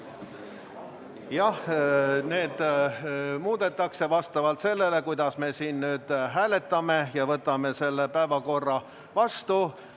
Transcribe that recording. Jah, neid muudetakse vastavalt sellele, kuidas me hääletame ja päevakorra vastu võtame.